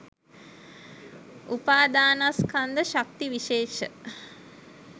උපාදානස්කන්ධ ශක්ති විශේෂ